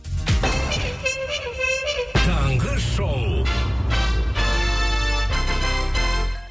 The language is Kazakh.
таңғы шоу